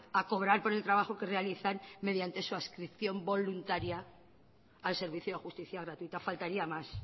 a cobrar por el trabajo que realizan mediante su adscripción voluntaria al servicio de justicia gratuita faltaría más